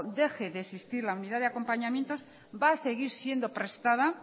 deje de existir la unidad de acompañamiento va a seguir siendo prestada